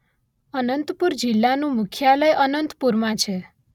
અનંતપુર જિલ્લાનું મુખ્યાલય અનંતપુરમાં છે.